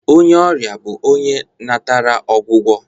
Onye ọrịa bụ onye natara ọgwụgwọ